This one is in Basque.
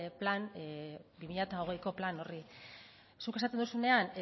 bi mila hogeiko plan horri zuk esaten duzunean